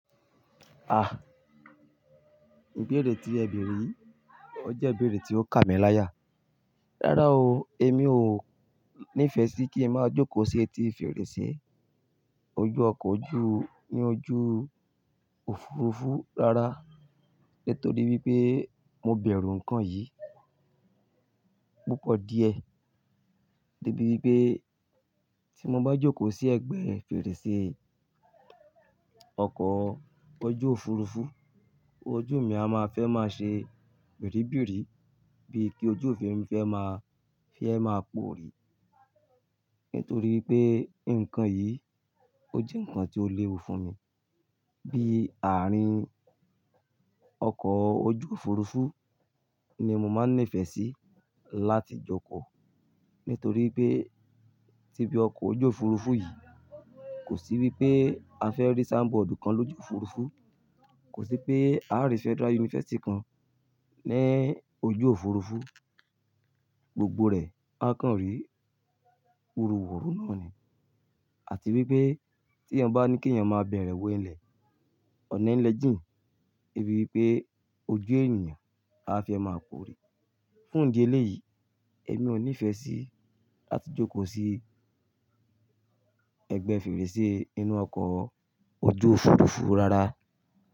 Ah! Ìbéèrè tí ẹ bèrè yìí, ó jẹ́ ìbéèrè tí ó kà mí láyà. Rárá o, èmi ò ní ìfẹ́ sí kí n máa jókòó sí etí fèrèsé ojú ọkọ̀ ojú ní ojú òfurufú rara. Nítorí wípé mo bẹ̀rù ǹkan yìí púpọ̀ díẹ̀. Debi wípé tí mo bá jókòó sí ẹgbẹ́ fèrèsé ọkọ̀ ojú òfurufú, ojú mi a máa fẹ́ máa ṣe birìbìrì bíi kí ojú mi fẹ́ máa, fi ẹ́ máa poòrí. Nítorí pé ǹkan yìí ó jẹ́ ǹkan tí ó léwu fún mi. Bí àárín ọkọ̀ ojú òfurufú ni mo máa ń nífẹ̀ẹ́ sí láti jókòó. Nítorí pé tíbi ọkọ̀ ojú òfurufú yìí kò sí wípé a fẹ́ rí soundboard kan lójú òfurufú, kò sí pé a rí Federal University kan ní ojú òfurufú, gbogbo rẹ̀ áa kan rí wúruwùru náà ni. Àti wípé tí ènìyàn bá ní kí ènìyàn máa bẹ̀rẹ̀ wo ilẹ̀, ọ̀nà ilẹ́ jìn, de ibi wípé ojú ènìyàn aa fẹ́ máa poòrí. Fún ìdí eléyìí, èmi ò ní ìfẹ́ sí láti jókòó sí ẹgbẹ́ fèrèsé inú ọkọ̀ ojú òfurufú rara.